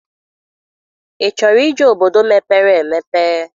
Ị chọrọ ije obodo mepere emepe?